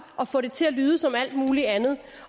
at få det til at lyde som alt muligt andet